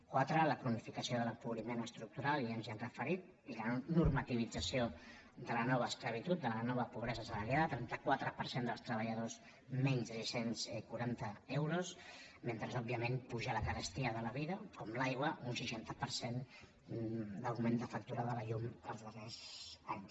quatre la cronificació de l’empobriment estructural ja ens hi hem referit i la normativització de la nova esclavitud de la nova pobresa salarial el trenta quatre per cent dels treballadors menys de sis cents i quaranta euros mentre òbviament puja la carestia de la vida com l’aigua un seixanta per cent d’augment de factura de la llum els darrers anys